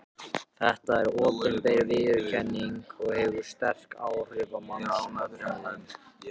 Þetta er opinber viðurkenning og hefur sterk áhrif á mannsöfnuðinn.